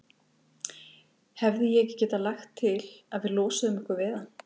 Hefði ég ekki getað lagt til, að við losuðum okkur við hann?